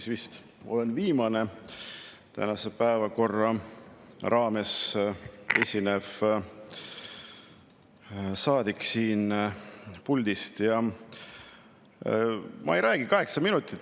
Ma vist olen viimane tänase päevakorra raames siin puldis esinev saadik ja ma ei räägi kaheksa minutit.